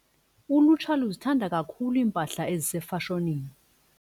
Ulutsha luzithanda kakhulu iimpahla ezisefashonini.